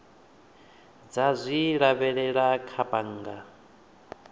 dza zwi lavhelela kha bannga